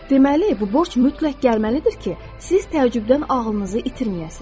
Deməli, bu borc mütləq gəlməlidir ki, siz təəccübdən ağlınızı itirməyəsiniz.